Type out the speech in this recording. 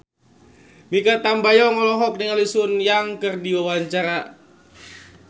Mikha Tambayong olohok ningali Sun Yang keur diwawancara